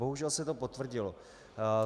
Bohužel se to potvrdilo.